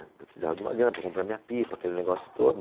Que eu precisava de uma grana para comprar minha pipa, aquele negócio todo.